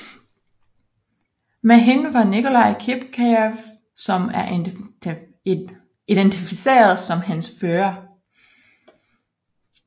Med hende var Nikolai Kipkejev som er identificeret som hendes fører